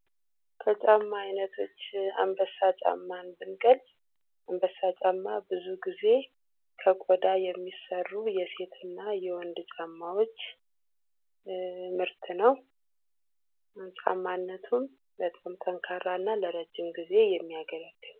ከጫማ ዓይነቶች አንበሳ ጫማን ብንገልጽ፤ አንበሳ ጫማ ብዙ ጊዜ ከጓዳ የሚሠሩ የሴት እና የወንድ ጫማዎች ምርት ነው። ጫማነቱን በጣም ጠንካራ እና ለረዥም ጊዜ የሚያገለግል ነው።